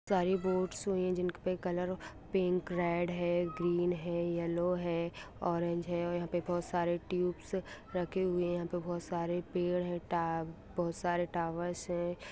सारी बोट्स हुई है जिन पे कलर पिंक रेड है ग्रीन है येलो है ऑरेंज है यहाँ पे बहुत सारे ट्यूब रखे हुए है यहाँ पे बहुत सारे पेड़ हैं बहुत सारे ट टावर्स हैं।